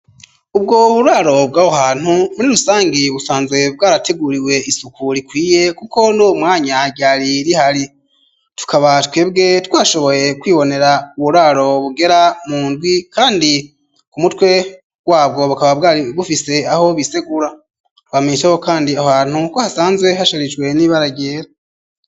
Ubwo buraro bwaho hantu muri rusangi busanzwe bwarateguriwe isuku rikwiye kuko numwanya ryari rihari tukaba twebwe twashoboye kwibonera uburaro bugera mu ndwi kandi ku mutwe wabwo bukaba bwari bufise aho bisegura bamesaho kandi ahantu ko hasanzwe hasharijwe n'ibara ryera.